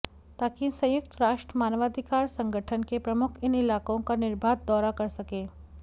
ताकि संयुक्त राष्ट्र मानवाधिकार संगठन के प्रमुख इन इलाकों का निर्बाध दौरा कर सकें